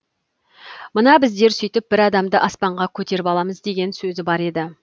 мына біздер сөйтіп бір адамды аспанға көтеріп аламыз деген сөзі бар еді